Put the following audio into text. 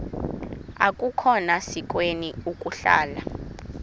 akukhona sikweni ukuhlala